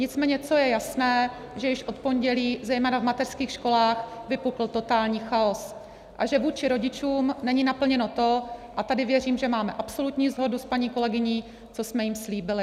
Nicméně co je jasné, že již od pondělí zejména v mateřských školách vypukl totální chaos a že vůči rodičům není naplněno to, a tady věřím, že máme absolutní shodu s paní kolegyní, co jsme jim slíbili.